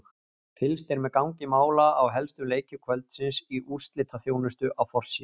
Fylgst er með gangi mála í helstu leikjum kvöldsins í úrslitaþjónustu á forsíðu